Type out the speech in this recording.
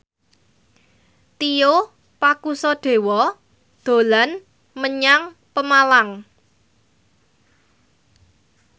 Tio Pakusadewo dolan menyang Pemalang